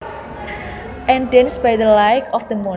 And dance by the light of the moon